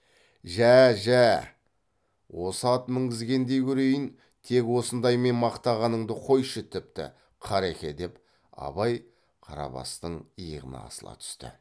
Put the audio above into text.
жә жә осы ат мінгізгендей көрейін тек осындаймен мақтағаныңды қойшы тіпті қареке деп абай қарабастың иығына асыла түсті